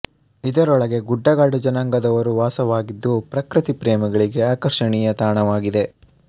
ಇದರೊಳಗೆ ಗುಡ್ಡಗಾಡು ಜನಾಂಗದವರೂ ವಾಸವಾಗಿದ್ದು ಪ್ರಕೃತಿ ಪ್ರೇಮಿಗಳಿಗೆ ಆಕರ್ಷಣೀಯ ತಾಣವಾಗಿದೆ